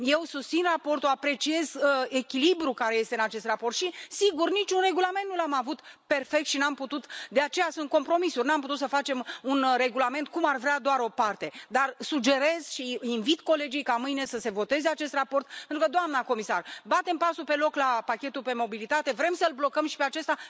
Eu susțin raportul, apreciez echilibrul care este în acest raport și, sigur, nu am avut niciun regulament perfect și nu am putut de aceea sunt compromisuri să facem un regulament cum ar vrea doar o parte, dar sugerez și invit colegii ca mâine să voteze acest raport pentru că, doamnă comisar, batem pasul pe loc la pachetul privind mobilitatea, vrem să îl blocăm și pe acesta.